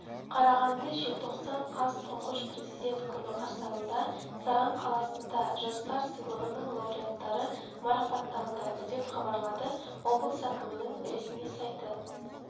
қарағанды желтоқсан қаз түңғыш президент күні қарсаңында саран қаласында жастар сыйлығының лауреаттары марапатталды деп хабарлады облыс әкімінің ресми сайты